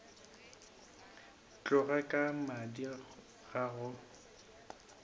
tloga ka madi ga go